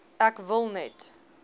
ek wil net